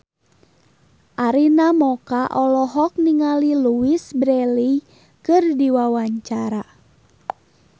Arina Mocca olohok ningali Louise Brealey keur diwawancara